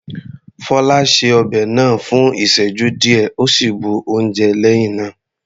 Fola ṣe ọbẹ̀ náà fún ìsẹ́jú díẹ̀ ó sì bu oúnjẹ lẹ́hìn náà.